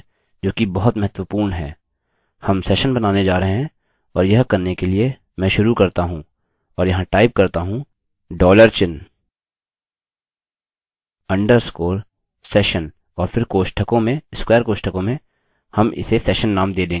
हम सेशन बनाने जा रहे हैं और यह करने के लिए मैं शुरू करता हूँ और यहाँ टाइप करता हूँ the dollar चिन्ह underscore session और फिर कोष्ठकों में स्क्वेर कोष्ठकों में हम इसे सेशन नेम दे देंगे